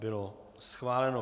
Bylo schváleno.